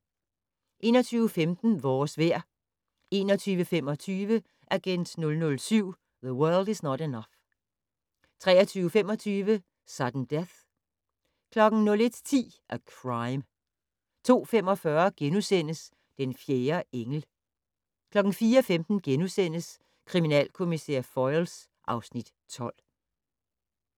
21:15: Vores vejr 21:25: Agent 007 - The World Is Not Enough 23:25: Sudden Death 01:10: A Crime 02:45: Den fjerde engel * 04:15: Kriminalkommissær Foyle (Afs. 12)*